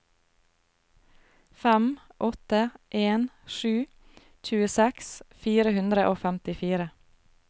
fem åtte en sju tjueseks fire hundre og femtifire